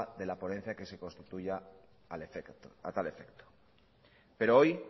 de la ponencia que se constituya a tal efecto pero hoy